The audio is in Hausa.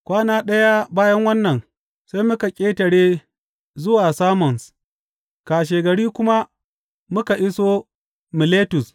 Kwana ɗaya bayan wannan, sai muka ƙetare zuwa Samos, kashegari kuma muka iso Miletus.